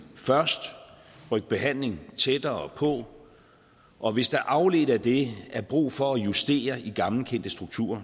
først og rykke behandlingen tættere på og hvis der afledt af det er brug for at justere i gammelkendte strukturer